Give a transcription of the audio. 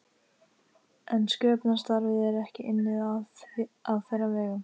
En sköpunarstarfið er ekki unnið á þeirra vegum.